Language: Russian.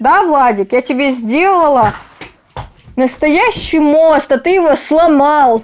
да владик я тебе сделала настоящий мост а ты его сломал